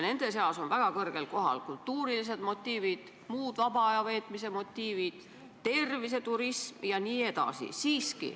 Väga kõrgel kohal on kultuurilised motiivid, muud vaba aja veetmise motiivid, terviseturism jne.